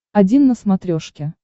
один на смотрешке